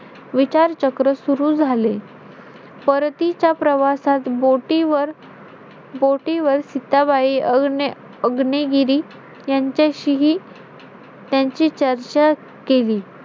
बाजारामध्ये सगळ्या ही वस्ती विकत भेटते ते पण करूया